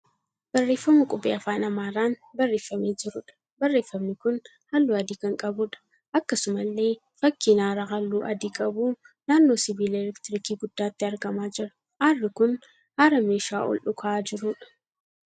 Barreeffama qubee afaan Amaaraan barreeffamee jiruudha. Barreeffamni kun halluu adii kan qabuudha. Akkasumallee fakkiin aara halluu adii qabuu naannoo sibiila 'elektirikii' guddaatti argamaa jira. Aarri kun haara meeshaa ol dhuka'aa jiruudha.